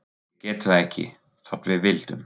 Við getum það ekki, þótt við vildum.